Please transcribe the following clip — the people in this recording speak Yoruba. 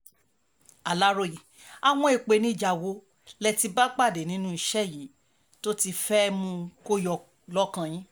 aláròye àwọn ìpèníjà wo lẹ ti bá pàdé lẹ́nu iṣẹ́ yìí tó ti fẹ́ mú kó yọ lọ́kàn yín